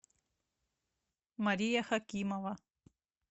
мария хакимова